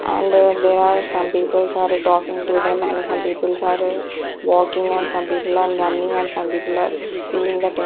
and they are some peoples are talking to them and some peoples are walking and some people are running and some people are seeing the te--